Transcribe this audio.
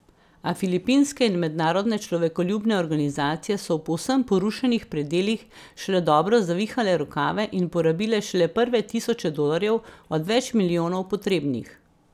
A filipinske in mednarodne človekoljubne organizacije so v povsem porušenih predelih šele dobro zavihale rokave in porabile šele prve tisoče dolarjev od več milijonov potrebnih.